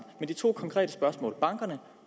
men de to konkrete spørgsmål bankerne